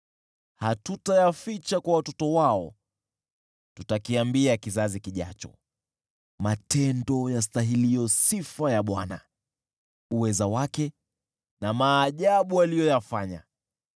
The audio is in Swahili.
Hatutayaficha kwa watoto wao; tutakiambia kizazi kijacho matendo yastahiliyo sifa ya Bwana , uweza wake, na maajabu aliyoyafanya.